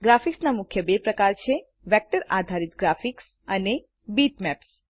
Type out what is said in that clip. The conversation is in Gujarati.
ગ્રાફિક્સના મુખ્ય બે પ્રકાર છે160 વેક્ટર આધારિત ગ્રાફિક્સ અને બીટમેપ્સ